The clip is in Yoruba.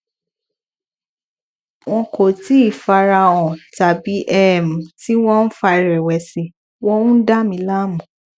wọn kò tíì fara hàn tàbí um tí wọn ń fa ìrèwèsì wọn ń dà mí láàmú